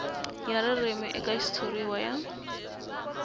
ya ririmi eka xitshuriwa ya